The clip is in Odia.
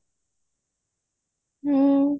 ହଁ